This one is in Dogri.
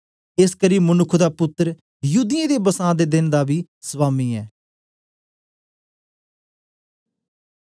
एसकरी मनुक्ख दा पुत्तर युदियें दे बसां दे देन दा बी स्वामी ऐ